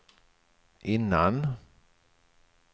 innan